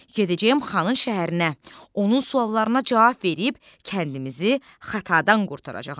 Gedəcəm xanın şəhərinə, onun suallarına cavab verib kəndimizi xatadan qurtaracağam.